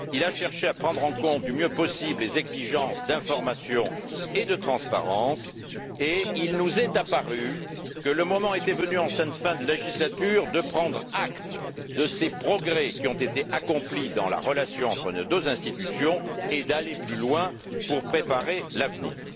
Il a cherché à prendre en compte du mieux possible les exigences d'information et de transparence et il nous est apparu que le moment était venu, en cette fin de législature, de prendre acte de ces progrès qui ont été accomplis dans la relation entre nos deux institutions et d'aller plus loin pour préparer l'avenir.